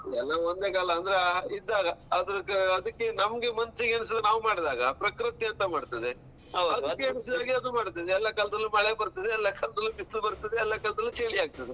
ಎಲ್ಲ ಒಂದೇ ಕಾಲ ಅಂದ್ರೆ ಇದ್ದಾಗ ಅದಕ್ಕ್ ಅದಕ್ಕೆ ನಮಗೆ ಮನ್ಸಿಗೆ ಎನಿಸಿದ್ದು ನಾವ್ ಮಾಡಿದಾಗ ಪ್ರಕೃತಿ ಎಂತಮಾಡ್ತದೆ. ಅದಕ್ಕೆ ಎನ್ನಸಿದಾಗೆಅದು ಮಾಡ್ತದೆ ಎಲ್ಲ ಕಾಲದಲ್ಲೂ ಮಳೆ ಬರ್ತದೆಎಲ್ಲ ಕಾಲದಲ್ಲೂ ಬಿಸ್ಲ್ ಬರ್ತದೆ ಎಲ್ಲ ಕಾಲದಲ್ಲೂ ಚಳಿ ಆಗ್ತದೆ.